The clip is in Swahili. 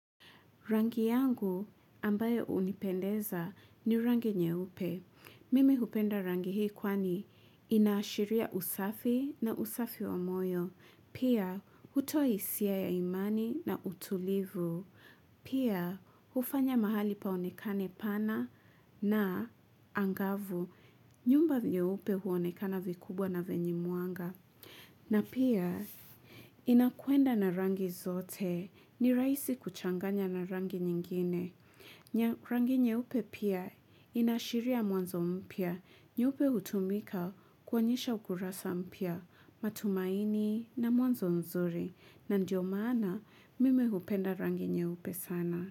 Rangi yangu ambayo hunipendeza ni rangi nyeupe. Mimi hupenda rangi hii kwani inaashiria usafi na usafi wa moyo. Pia, hutoa hisia ya imani na utulivu. Pia, hufanya mahali paonekane pana na angavu. Nyumba nyeupe huonekana vikubwa na vyenye mwanga. Na pia inakwenda na rangi zote ni rahisi kuchanganya na rangi nyingine. Rangi nyeupe pia inaashiria mwanzo mpya nyeupe hutumika kuonyesha ukurasa mpya matumaini na mwanzo mzuri na ndiyo maana mimi hupenda rangi nyeupe sana.